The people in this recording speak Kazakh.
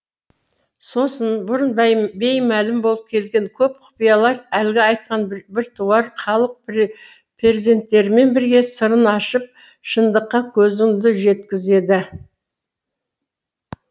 сосын бұрын беймәлім болып келген көп құпиялар әлгі айтқан біртуар халық перзенттерімен бірге сырын ашып шындыққа көзіңді жеткізеді